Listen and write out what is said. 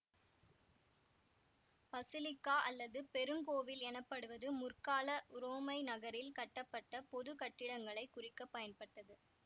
basilica அல்லது பெருங்கோவில் எனப்படுவது முற்கால உரோமை நகரில் கட்டப்பட்ட பொது கட்டிடங்களை குறிக்க பயன்பட்டது